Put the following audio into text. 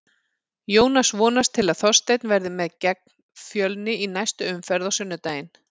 Jónas vonast til að Þorsteinn verði með gegn Fjölni í næstu umferð á sunnudaginn.